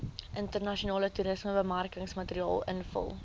internasionale toerismebemarkingsmateriaal invul